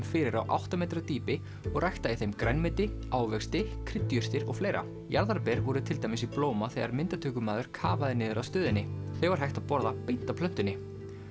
fyrir á átta metra dýpi og rækta í þeim ræktað grænmeti ávexti kryddjurtir og fleira jarðarber voru til dæmis í blóma þegar myndatökumaður kafaði niður að stöðinni þau var hægt að borða beint af plöntunni